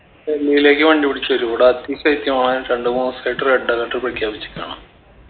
ഡൽഹീലേക്ക് വണ്ടി പിടിച്ച് വരൂ ഇവിട അതിശൈത്യമാണ് രണ്ട് മൂന്ന് ദിവസായിട്ട് red alert പ്രഖ്യാപിച്ചിക്കാണ്